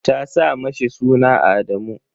ta sa mishi suna Adamu.